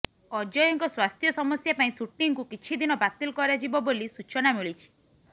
ଅଜୟଙ୍କ ସ୍ୱାସ୍ଥ୍ୟ ସମସ୍ୟା ପାଇଁ ସୁଟିଂକୁ କିଛି ଦିନ ବାତିଲ କରାଯିବ ବୋଲି ସୂଚନା ମିଳିଛି